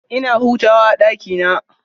Ina hutawa a ɗakina.